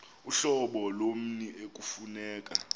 uhlobo lommi ekufuneka